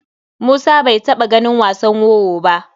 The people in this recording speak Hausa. Musa bai taɓa ganin wasan wowo ba.